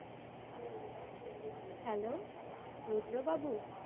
Hello? Rudra Babu?